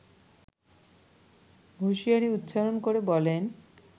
হুঁশিয়ারি উচ্চারণ করে বলেন